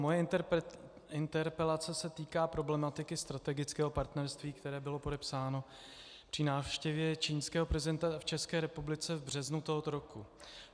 Moje interpelace se týká problematiky strategického partnerství, které bylo podepsáno při návštěvě čínského prezidenta v České republice v březnu tohoto roku.